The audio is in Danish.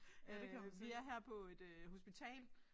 Øh vi er her på et øh hospital